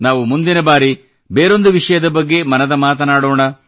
ನಾವು ಮುಂದಿನ ಬಾರಿ ಬೇರೊಂದು ವಿಷಯದ ಬಗ್ಗೆ ಮನದ ಮಾತನಾಡೋಣ